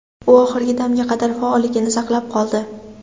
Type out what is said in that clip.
U oxirgi damga qadar faolligini saqlab qoldi.